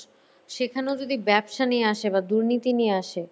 সেখানেও যদি ব্যবসা নিয়ে আসে বা দুর্নীতি নিয়ে আসে